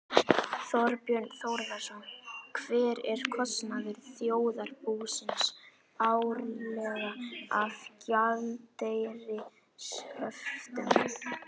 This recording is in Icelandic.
Þorbjörn Þórðarson: Hver er kostnaður þjóðarbúsins árlega af gjaldeyrishöftum?